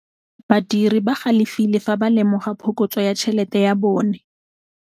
Badiri ba galefile fa ba lemoga phokotsô ya tšhelête ya bone.